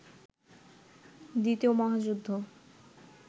দ্বিতীয় মহাযুদ্ধ